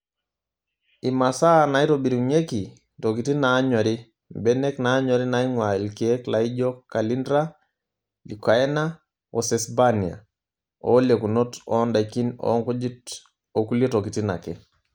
Imasaa naitobirunyieki:Ntokitin naanyori; Mbenek naanyori naing'ua ilkiek laijio callindra, leucaena oo sesbania. Oolekunot oo ndaikin onkujit okulie tokitin ake.